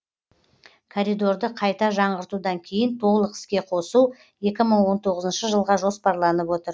коридорды қайта жаңғыртудан кейін толық іске қосу екі мың он тоғызыншы жылға жоспарланып отыр